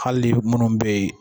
Hali minnu bɛ yen